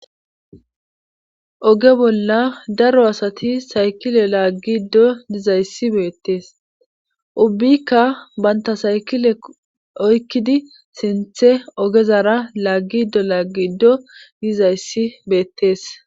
Oge bolla daro asati saykile laaggiiddo dizayssi beettees ubbikka bantta saykile oykkidi sinthe ogezara laaggiddo laaggiddo bizayssi beettees,